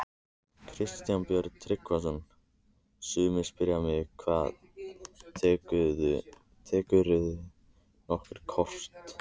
Kristján Björn Tryggvason: Sumir spyrja mig: Hvað, tekurðu nokkuð kort?